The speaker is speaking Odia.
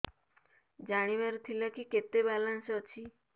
ଜାଣିବାର ଥିଲା କି କେତେ ବାଲାନ୍ସ ଅଛି